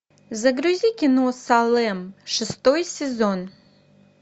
загрузи кино салем шестой сезон